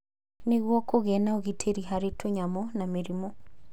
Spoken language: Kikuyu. Nĩguo kũgĩe na ũgitĩri harĩ tũnyamũ na mĩrimũ.